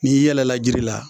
N'i yɛlɛla jiri la